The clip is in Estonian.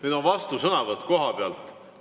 Nüüd on vastusõnavõtt kohapealt.